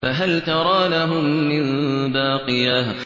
فَهَلْ تَرَىٰ لَهُم مِّن بَاقِيَةٍ